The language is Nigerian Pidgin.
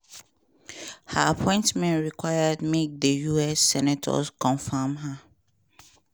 her appointment require make di us senators confam her.